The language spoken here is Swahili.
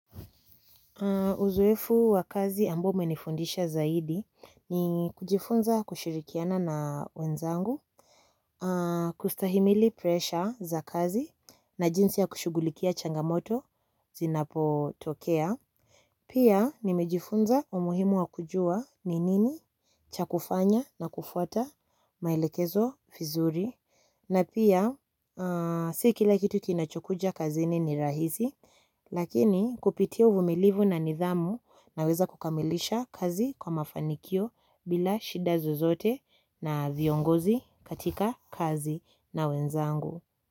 Uzoefu wa kazi ambao umenifundisha zaidi ni kujifunza kushirikiana na wenzangu, kustahimili presha za kazi na jinsi ya kushugulikia changamoto zinapotokea. Pia nimejifunza umuhimu wa kujua ni nini cha kufanya na kufuata maelekezo vizuri na pia si kila kitu kinachokuja kazini ni rahisi. Lakini kupitia uvumilivu na nidhamu naweza kukamilisha kazi kwa mafanikio bila shida zozote na viongozi katika kazi na wenzangu.